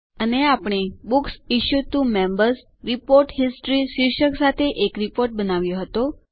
અને આપણે books issued to Members report history શીર્ષક સાથે એક રીપોર્ટ બનાવ્યો હતો